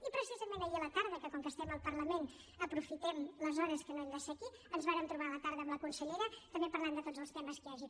i precisament ahir a la tarda com que estem al parlament aprofitem les hores que no hem de ser aquí ens vàrem trobar amb la consellera també per parlar de tots els temes que hi hagi